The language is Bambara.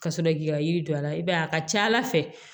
Ka sɔrɔ k'i ka yiri don a la i b'a ye a ka ca ala fɛ